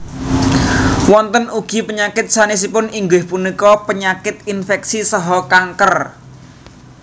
Wonten ugi penyakit sanésipun inggih punika penyakit inféksi saha kanker